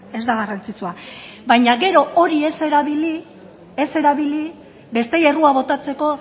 ez da garrantzitsua baina gero hori ez erabili besteei errua botatzeko